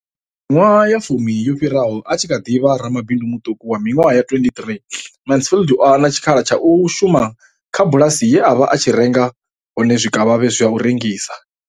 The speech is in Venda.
Miṅwaha ya fumi yo fhiraho, a tshi kha ḓi vha ramabindu muṱuku wa miṅwaha ya 23, Mansfield o hana tshikhala tsha u shuma kha bulasi ye a vha a tshi renga hone zwikavhavhe zwa u rengisa.